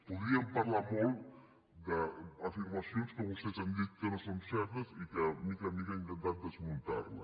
podríem parlar molt d’afirmacions que vostès han dit que no són certes i que de mica en mica he intentat desmuntar les